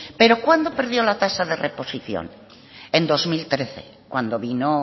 pero cuándo perdió la tasa de reposición en dos mil trece cuando vino